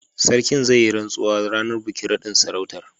Sarkin zai yi rantsuwa ranar bikin naɗin sarautar.